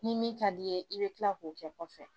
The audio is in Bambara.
Ni min ka di i ye i bɛ tila k'o kɛ kɔfɛ